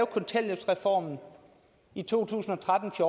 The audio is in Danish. kontanthjælpsreformen i to tusind og tretten til